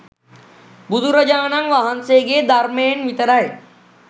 බුදුරජාණන් වහන්සේගේ ධර්මයෙන් විතරයි